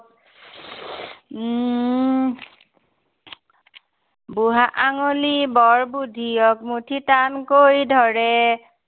বুঢ়া আঙুলি বৰ বুধিয়ক, মুঠি টানকৈ ধৰে।